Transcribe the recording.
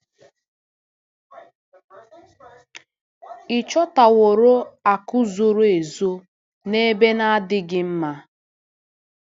Ị̀ chọtaworo akụ̀ zoro ezo n'ebe na-adịghị mma?